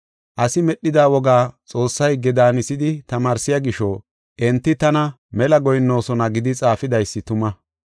Asi medhida wogaa Xoossaa higge daanisidi tamaarsiya gisho, enti taw mela goyinnoosona’ ” gidi xaafidaysi tuma.